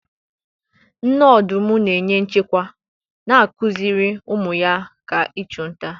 Nne ọdụm na-enye nchekwa, na-akụziri ụmụ ya nkà ịchụ nta.